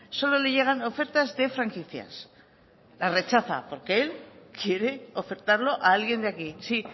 solo le llegan ofertas de franquicias las rechaza porque él quiere ofertarlo a alguien de aquí sí